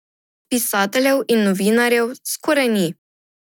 Pisateljev in novinarjev skoraj ni.